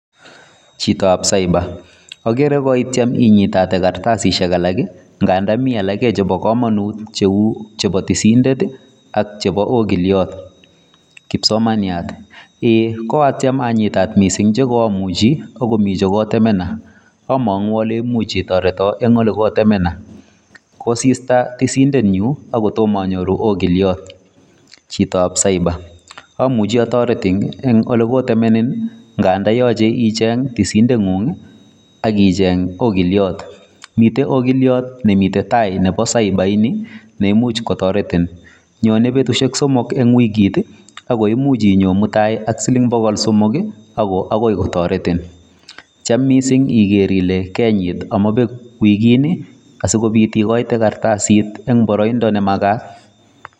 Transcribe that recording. Chitab cyber: ogere koityem inyitate kartasishek alak, nganda mi alak chebo komonut cheu chebo tisindet ak chebo ogilyot. Kipsomaniat: eeiy koatyem anyitat mising che koamuchi ago komi che kotemenenan among'u ale imuch itoreton en ole kotemenenan. Kosista tisindenyun ago tomo anyoru ogilyot. Chitab cyber : amuchi atoretin en ole kotemenenin nganda yoche icheng tisindeng'ung ak icheng ogilyot miten ogilyor nemiten taa nebo cyber ini neimuch kotoretin. Nyone betushek somok en wigit ago imuch inyon mutai ak siling bogol somok agoi kotoretin. Tyem mising iger ile kenyit amabek wikini asikobit igoite kartasit en boroindo nemagat.